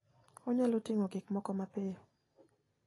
Onyalo ting'o gik moko mapiyo.